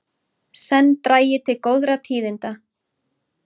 Senn dragi til góðra tíðinda